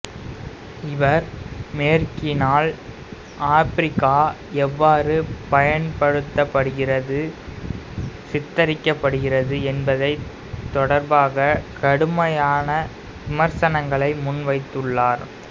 இவர் மேற்கினால் ஆப்பிரிக்கா எவ்வாறு பயன்படுத்தப்படுகிறது சித்தரிக்கப்படுகிறது என்பது தொடர்பாக கடுமையான விமர்சனங்களை முன்வைத்துள்ளார்